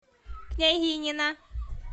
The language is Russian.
княгинино